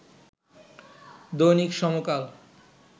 দৈনিক সমকাল